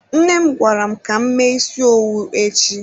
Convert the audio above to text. Nne m gwara m ka m mee isi owu echi.